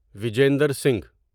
Vijender Singh